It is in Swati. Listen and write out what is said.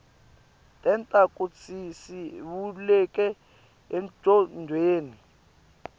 tenta kutsisivuleke engcondweni